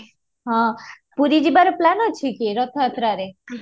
ହଁ, ପୁରୀ ଯିବାର plan ଅଛି କି ରଥଯାତ୍ରାରେ ଉହୁଁ